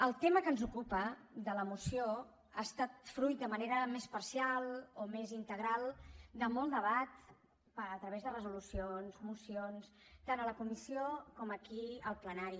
el tema que ens ocupa de la moció ha estat fruit de manera més parcial o més integral de molt debat a través de resolucions mocions tant a la comissió com aquí al plenari